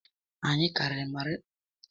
Anyị karịrị mmadụ narị Naịra iri atọ na ise n'ụlọ ụka m